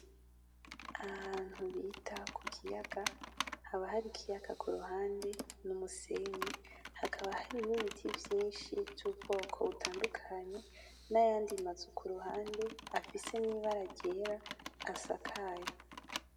Ahantu bita kukiyaga, haba hari ikiyaga kuruhande n'umusenyi, hakaba hari ni biti vyinshi vyubwoko butandukanye nayandi mazu kuruhande afise nibara ryera asakaye.